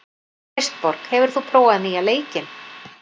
Kristborg, hefur þú prófað nýja leikinn?